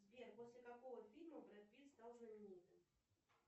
сбер после какого фильма брэд пит стал знаменитым